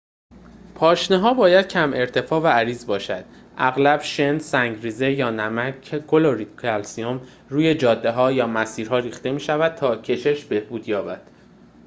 پاشنه‌ها باید کم ارتفاع و عریض باشند. اغلب شن، سنگ‌ریزه یا نمک کلرید کلسیم روی جاده‌ها یا مسیرها ریخته می‌شود تا کشش بهبود یابد